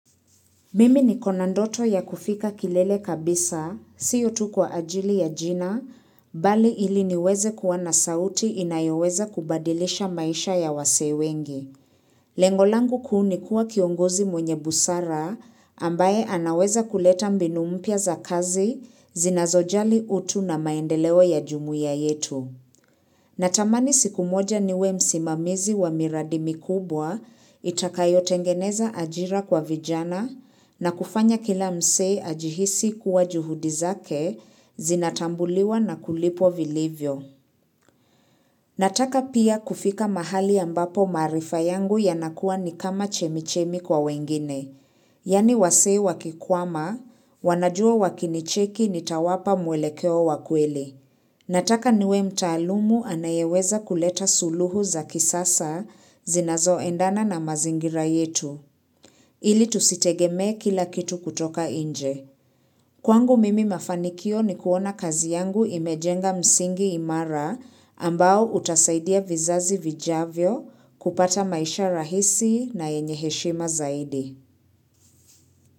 Mimi niko na ndoto ya kufika kilele kabisa, sio tu kwa ajili ya jina, bali ili niweze kuwa na sauti inayoweza kubadilisha maisha ya wasee wengi. Lengo langu kuu ni kuwa kiongozi mwenye busara, ambaye anaweza kuleta mbinu mpya za kazi, zinazojali utu na maendeleo ya jumuiya yetu. Natamani siku moja niwe msimamizi wa miradi mikubwa itakayo tengeneza ajira kwa vijana na kufanya kila mse ajihisi kuwa juhudi zake zinatambuliwa na kulipo vilivyo. Nataka pia kufika mahali ambapo maarifa yangu yanakuwa ni kama chemichemi kwa wengine, yani wasee wakikwama, wanajua wakinicheki nitawapa mwelekeo wakweli. Nataka niwe mtaalumu anayeweza kuleta suluhu za kisasa zinazoendana na mazingira yetu, ili tusitegeme kila kitu kutoka inje. Kwangu mimi mafanikio ni kuona kazi yangu imejenga msingi imara ambao utasaidia vizazi vijavyo kupata maisha rahisi na yenye heshima zaidi.